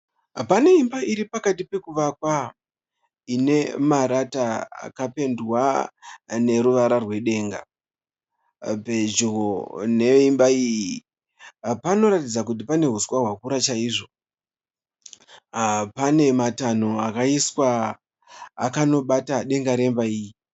Pane imba iri pakati pokuvakwa ine marata akapendwa noruvara rwedenga. Pedyo neimba iyi panoratidza kuti pane uswa hwakura chaizvo. Pane matanho akaiswa akanobata denga remba iyi.